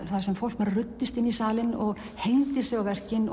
þar sem fólk ruddist inn í salinn og hengdi sig á verkin